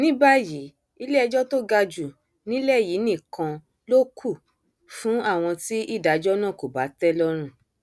ní báyìí iléẹjọ tó ga jù nílẹ yìí nìkan ló kù fún àwọn tí ìdájọ náà kò bá tẹ lọrùn